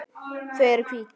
Þau eru hvít.